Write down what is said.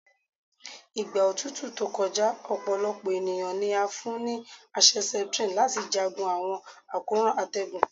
Igba otutu to kọja, ọpọlọpọ eniyan ni a fun ni aṣẹ Septrin lati jagun awọn akoran atẹgun